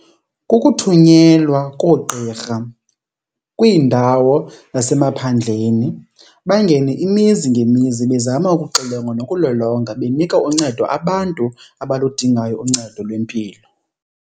Kukuthunyelwa koogqirha kwiindawo zasemaphandleni, bangene imizi ngemizi bezama ukuxilonga nokulolonga benika uncedo abantu abaludingayo uncedo lwempilo.